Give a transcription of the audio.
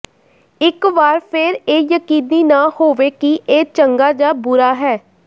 ਇੱਕ ਵਾਰ ਫਿਰ ਇਹ ਯਕੀਨੀ ਨਾ ਹੋਵੇ ਕਿ ਇਹ ਚੰਗਾ ਜਾਂ ਬੁਰਾ ਹੈ